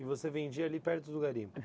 E você vendia ali perto do garimpo?